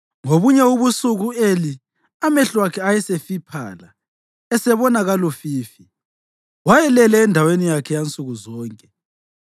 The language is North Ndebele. Ngobunye ubusuku u-Eli, amehlo akhe ayesefiphala esebona kalufifi, wayelele endaweni yakhe yansuku zonke.